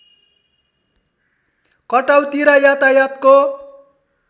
कटौती र यातायातको